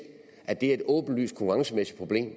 at det er et åbenlyst konkurrencemæssigt problem